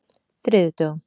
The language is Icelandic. þriðjudögum